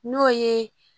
N'o ye